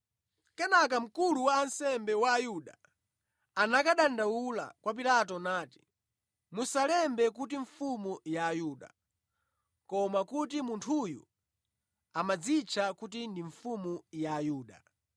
Kenaka mkulu wa ansembe wa Ayuda anakadandaula kwa Pilato nati, “Musalembe kuti ‘Mfumu ya Ayuda,’ koma kuti munthuyu amadzitcha kuti ndi mfumu ya Ayuda.”